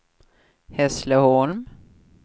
Hässleholm